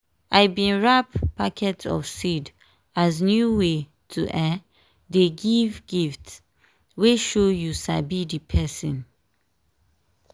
i bin wrap packet of seed as new way to um dey give gifts wey show you sabi di person.